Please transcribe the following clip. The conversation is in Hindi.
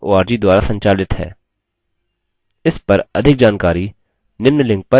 इस पर अधिक जानकारी निम्न लिंक पर उपलब्ध है